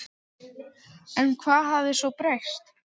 En hvað hafði svo breyst?